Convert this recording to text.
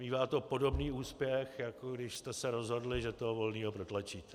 Mívá to podobný úspěch, jako když jste se rozhodli, že toho Volného protlačíte.